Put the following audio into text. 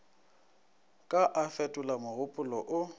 ka a fetola mogopolo o